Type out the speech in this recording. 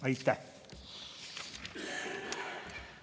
Aitäh!